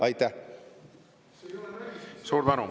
Suur tänu!